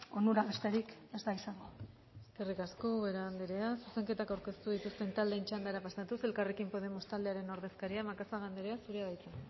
onura besterik ez da izango eskerrik asko ubera anderea zuzenketak aurkeztu dituzten taldeen txandara pasatuz elkarrekin podemos taldearen ordezkaria macazaga andrea zurea da hitza